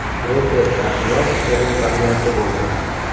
Reper Shahriyor o‘g‘il farzandli bo‘ldi.